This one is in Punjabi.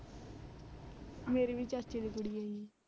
ਮੇਰੇ ਵੀ ਚਾਚੇ ਦੀ ਕੁੜੀ ਹੈ ਜੀ।